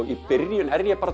í byrjun er ég